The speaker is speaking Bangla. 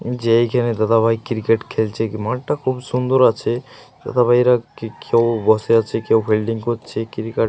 যেখানে দাদাভাই ক্রিকেট খেলছে। কি মাঠটা খুব সুন্দর আছে। দাদা ভাইয়েরা কেউ বসে আছে কেউ ফিল্ডিং করছে। ক্রিকেট --